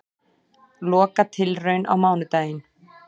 Lokatilraun á mánudaginn